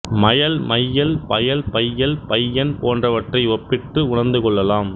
மயல் மையல் பயல் பையல் பையன் போன்றவற்றை ஒப்பிட்டு உணர்ந்துகொள்ளலாம்